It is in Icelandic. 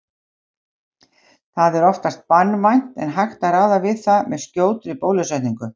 Það er oftast banvænt en hægt að ráða við það með skjótri bólusetningu.